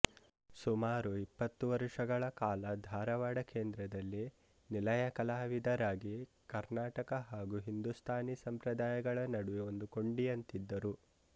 ಸುಮಾರು ಇಪ್ಪತ್ತು ವರುಷಗಳ ಕಾಲ ಧಾರವಾಡ ಕೇಂದ್ರದಲ್ಲಿ ನಿಲಯ ಕಲಾವಿದರಾಗಿ ಕರ್ಣಾಟಕ ಹಾಗೂ ಹಿಂದೂಸ್ಥಾನೀ ಸಂಪ್ರದಾಯಗಳ ನಡುವೆ ಒಂದು ಕೊಂಡಿಯಂತಿದ್ದರು